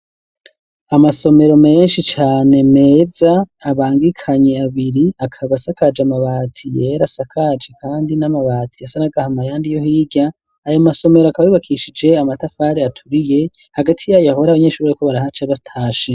Amasomero menshi cane meza abangikanye abiri akaba asakaje amabati yera asakaje kandi n'amabati asa n'agahama yandi yo hirya ayo masomero akaba yubakishije amatafari aturiye hagati yayo ahore abanyeshure bariko barahaca batashe.